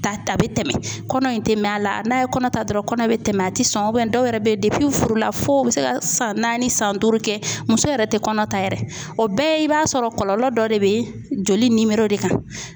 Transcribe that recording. a bɛ tɛmɛ, kɔnɔ in tɛ mɛn a la, n'a ye kɔnɔ ta dɔrɔn kɔnɔ bɛ tɛmɛ a tɛ sɔn dɔw yɛrɛ bɛ furu la fo ka san naani san duuru kɛ muso yɛrɛ tɛ kɔnɔ ta yɛrɛ o bɛɛ i b'a sɔrɔ kɔlɔlɔ dɔ de bɛ joli de kan.